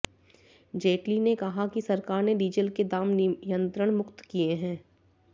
जेटली ने कहा कि सरकार ने डीजल के दाम नियंत्रण मुक्त किए हैं